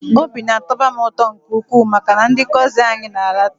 O bi na-atọba m ụtọ nke ukwu maka na ndị kọzị anyị na-alata.